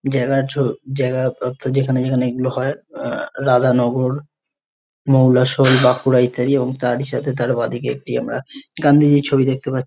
যেখানে যেখানে এগুলো হয় রাধানগর মৌলাশোল বাঁকুড়া ইত্যাদি এবং তার সাথে তার বাঁদিকে আমরা একটি গান্ধীজির ছবি দেখতে পাচ--